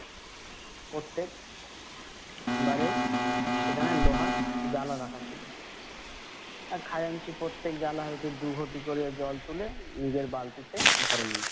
প্রত্যেক বাড়ে সেখানে লোহার জালা রাখা ছিল। আহ খাজাঞ্চি প্রত্যেক জালা হইতে দু ঘটি করে জল তুলে নিজের বালতিতে ভোরে নিলো।